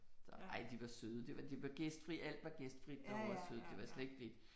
Så ej de var søde det var de var gæstfrie alt var gæstfrit derovre søde det var slet ikke det